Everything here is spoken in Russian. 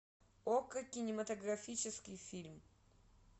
окко кинематографический фильм